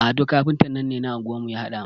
Ado kafintan nan ne na anguwar mu ya haɗa mun.